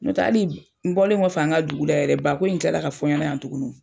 N'o tɛ hali n bɔlen kɔfɛ an ka dugula yɛrɛ, ba ko in kila ka fɔ n ɲɛnɛ yan tugunni.